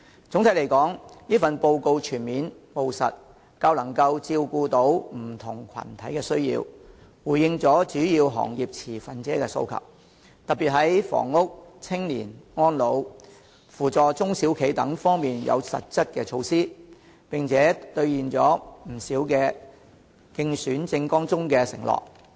總體來說，此份報告全面、務實，較能照顧到不同群體的需要，回應了主要行業持份者的訴求，特別在房屋、青年、安老、扶助中小企等方面有實質的措施，並且兌現了不少競選政網中的承諾。